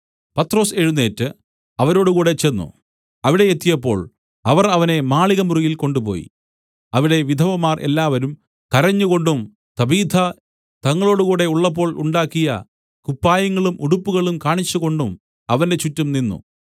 പത്രൊസ് എഴുന്നേറ്റ് അവരോടുകൂടെ ചെന്ന് അവിടെ എത്തിയപ്പോൾ അവർ അവനെ മാളികമുറിയിൽ കൊണ്ടുപോയി അവിടെ വിധവമാർ എല്ലാവരും കരഞ്ഞുകൊണ്ടും തബീഥ തങ്ങളോടുകൂടെ ഉള്ളപ്പോൾ ഉണ്ടാക്കിയ കുപ്പായങ്ങളും ഉടുപ്പുകളും കാണിച്ചുകൊണ്ടും അവന്റെ ചുറ്റും നിന്നു